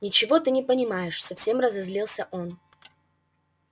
ничего ты не понимаешь совсем разозлился он